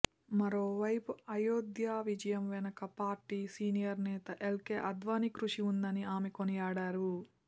మరోవైపు అయోధ్య విజయం వెనక పార్టీ సీనియర్ నేత ఎల్కే అద్యానీ కృషి ఉందని ఆమె కొనియాడారు